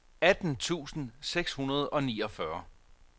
atten tusind seks hundrede og niogfyrre